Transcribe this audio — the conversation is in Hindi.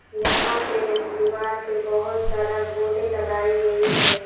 यहां पे दीवार पे बहोत सारा बोर्डे लगाई गई है।